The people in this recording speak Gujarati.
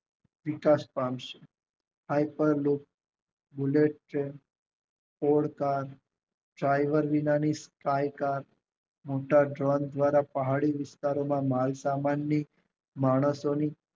વિકાસ પામશે એરપાલેટ બુલેટ છે હોડકા સાઈલ્ડ બીબાની સૈકા મોટા ટ્રક દ્વારા પહાડી વિસ્તારોમાં માલ સમાન ની માણસોની